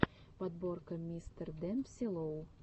подборка мистердемпси лоу